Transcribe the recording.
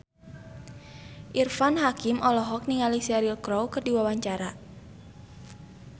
Irfan Hakim olohok ningali Cheryl Crow keur diwawancara